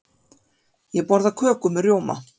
Ég borða köku með rjóma.